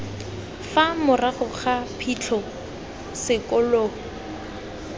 fa morago ga phitlho sekolo